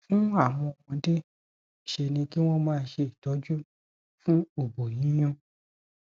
fún àwọn ọmọdé ṣe ni kí wọn máa ṣe itọju fún obo yiyun